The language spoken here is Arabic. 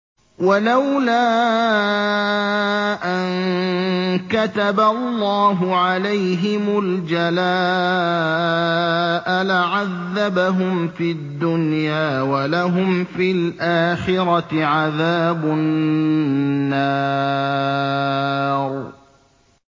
وَلَوْلَا أَن كَتَبَ اللَّهُ عَلَيْهِمُ الْجَلَاءَ لَعَذَّبَهُمْ فِي الدُّنْيَا ۖ وَلَهُمْ فِي الْآخِرَةِ عَذَابُ النَّارِ